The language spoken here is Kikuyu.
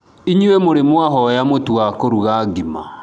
inyũi mũrĩ mwahoya mutu wa kuruga ngima?